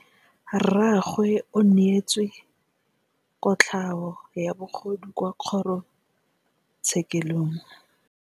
Rragwe o neetswe kotlhaô ya bogodu kwa kgoro tshêkêlông.